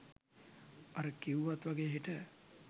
අර කිව්වත් වගේ හෙට